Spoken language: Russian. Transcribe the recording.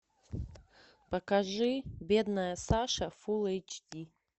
покажи бедная саша фул эйч ди